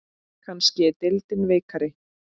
Kannski er deildin veikari?